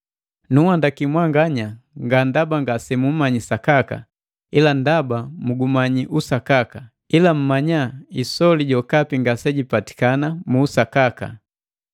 Nunhandaki mwanganya, nga ndaba ngase muumanyi usakaka, ila ndaba mugumanyiki usakaka, ila mmanya isoli jokapi ngase jipatikana mu usakaka.